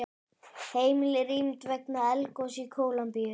Heimili rýmd vegna eldgoss í Kólumbíu